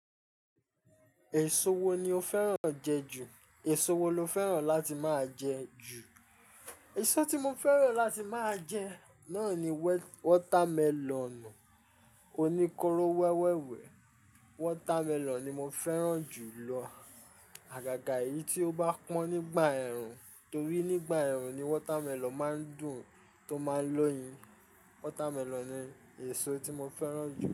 Èso wo ni o fẹ́ràn jẹ ju? Èso wo lo fẹ́ràn láti máa jẹ ju? Èso tí mo fẹ́ràn láti máa jẹ náà ni wọ́támẹlọ̀nù, oníkóró wẹ́wẹ́ wẹ̀. Wọ́támẹlọ̀n ni mo fẹ́ràn jù lọ. Àgàgà eyìí tí ó bá pọ́n nígbà ẹ̀rùn torí nígbà ẹ̀rùn ni wọ́támẹlọ̀n máa ń dùn tó máa ń lọ́yin. Wọ́támẹlọ̀n ni èso tí mo fẹ́ràn jù.